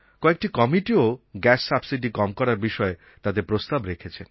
কয়েকটি কমিটিও gas subsidy কম করার বিষয়ে তাদের প্রস্তাব রেখেছেন